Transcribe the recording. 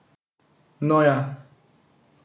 No ja.